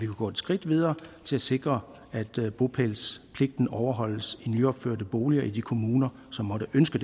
gå et skridt videre til at sikre at bopælspligten overholdes i nyopførte boliger i de kommuner som måtte ønske